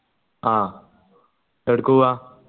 ആ എവിട്ക്ക് പൂവ